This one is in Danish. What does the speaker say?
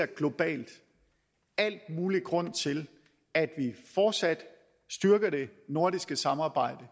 det globalt al mulig grund til at vi fortsat styrker det nordiske samarbejde